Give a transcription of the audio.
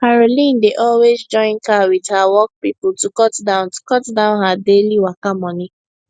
caroline dey always join car with her work people to cut down to cut down her daily waka money